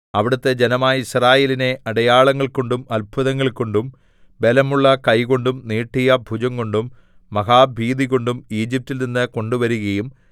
അവിടുത്തെ ജനമായ യിസ്രായേലിനെ അടയാളങ്ങൾകൊണ്ടും അത്ഭുതങ്ങൾകൊണ്ടും ബലമുള്ള കൈകൊണ്ടും നീട്ടിയ ഭുജംകൊണ്ടും മഹാഭീതികൊണ്ടും ഈജിപ്റ്റിൽ നിന്ന് കൊണ്ടുവരുകയും